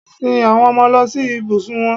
Sin àwọn ọmọ lọ sí ibùsùn wọn.